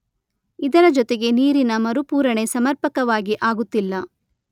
ಇದರ ಜೊತೆಗೆ ನೀರಿನ ಮರುಪೂರಣೆ ಸಮರ್ಪಕವಾಗಿ ಆಗುತ್ತಿಲ್ಲ.